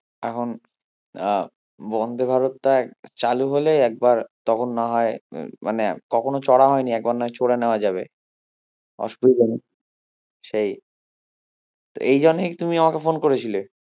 এখন আহ বন্দে ভারতটা চালু হলে একবার তখন না হয় মানে কখনো চড়া হয়নি একবার নয় চড়ে নেওয়া যাবে অসুবিধা নেই সেই এই জন্যই কি তুমি আমাকে phone করেছিলে?